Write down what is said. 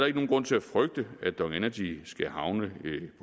ikke nogen grund til at frygte at dong energy skal havne